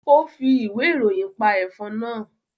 Ó fi ìwé ìròyìn pa ẹ̀fọn náà